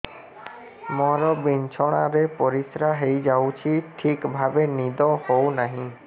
ମୋର ବିଛଣାରେ ପରିସ୍ରା ହେଇଯାଉଛି ଠିକ ଭାବେ ନିଦ ହଉ ନାହିଁ